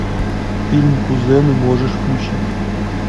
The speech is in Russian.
фильм кузены можешь включить